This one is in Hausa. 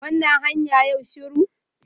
Wannan hanya yau shiru